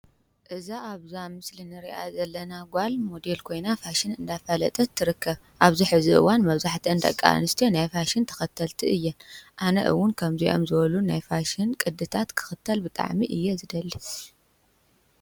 እዛ ኣብዛ ምስሊ ንሪኣ ዘለና ጓል ሞዴል ኮይና ፋሽን እንዳፋለጠት ትርከብ፡፡ ኣብዚ ሕዚ እዋን መብዛሕትአን ደቂ ኣንስትዮ ናይ ፋሽን ተኸተልትን እየን፡፡ ኣነ እውን ከምዚኦም ዝበሉ ናይ ፋሽን ቅድታት ክኽተል ብጣዕሚ እየ ዝደሊ።